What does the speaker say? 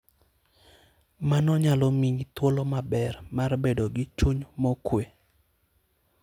Mano nyalo miyi thuolo maber mar bedo gi chuny mokuwe.